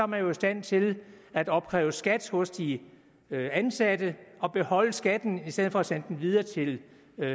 man jo i stand til at opkræve skat hos de ansatte og beholde skatten i stedet for at sende den videre til